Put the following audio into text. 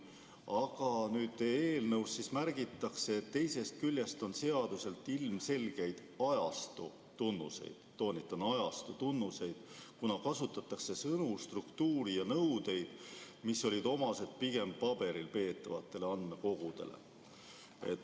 Aga nüüd eelnõus märgitakse, et teisest küljest on seadusel ilmselgeid ajastu tunnuseid – toonitan, ajastu tunnuseid –, kuna kasutatakse sõnu, struktuuri ja nõudeid, mis olid omased pigem paberil peetavatele andmekogudele.